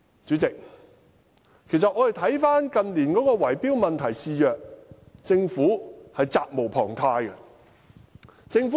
主席，其實我們看到近年圍標問題肆虐，政府是責無旁貸的。